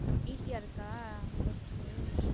Easy யா இருக்கா? work உ